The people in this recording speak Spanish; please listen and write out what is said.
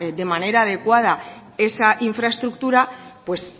de manera adecuada esa infraestructura pues